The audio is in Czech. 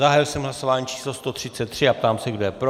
Zahájil jsem hlasování číslo 133 a ptám se, kdo je pro?